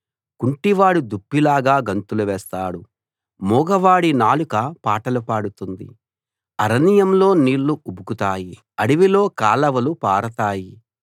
కుంటివాడు దుప్పిలాగా గంతులు వేస్తాడు మూగవాడి నాలుక పాటలు పాడుతుంది అరణ్యంలో నీళ్లు ఉబుకుతాయి అడవిలో కాలవలు పారతాయి